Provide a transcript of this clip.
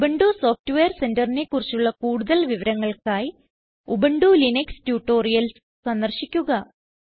Ubuntu software Centerനെ കുറിച്ചുള്ള കൂടുതൽ വിവരങ്ങൾക്കായി ഉബുന്റു ലിനക്സ് ട്യൂട്ടോറിയൽസ് സന്ദർശിക്കുക